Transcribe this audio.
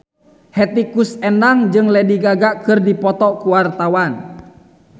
Hetty Koes Endang jeung Lady Gaga keur dipoto ku wartawan